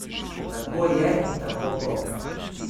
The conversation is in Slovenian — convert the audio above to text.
Tako je in tako bo.